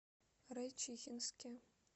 райчихинске